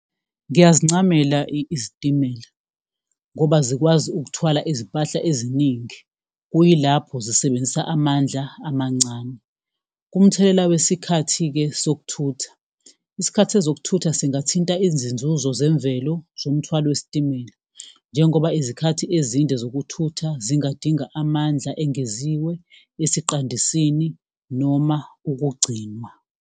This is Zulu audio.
Ngiyazincamela izitimela, ngoba zikwazi ukuthwala izimpahla eziningi, kuyilapho zisebenzisa amandla amancane. Kumthelela wesikhathi-ke sokuthutha, isikhathi sezokuthutha singathinta izinzuzo zemvelo zomthwalo wesitimela. Njengoba izikhathi ezinde zokuthutha zingadinga amandla engeziwe, esiqandisini, noma ukugcinwa.